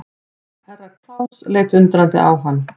Herra Klaus leit undrandi á hann.